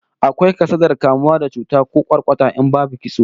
Akwai kasadar kamuwa da cuta ko kwarkwata in babu kitso